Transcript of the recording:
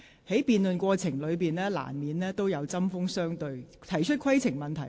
在辯論過程中，議員難免針鋒相對。